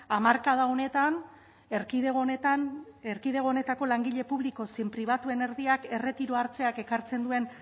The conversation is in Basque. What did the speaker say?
hamarkada honetan erkidego honetan erkidego honetako langile publiko zein pribatuen erdiak erretiroa hartzeak ekartzen duen